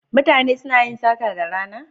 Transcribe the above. Mutane suna yin sata da rana?